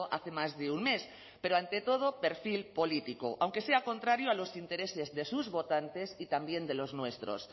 hace más de un mes pero ante todo perfil político aunque sea contrario a los intereses de sus votantes y también de los nuestros